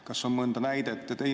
Kas on mõnda näidet?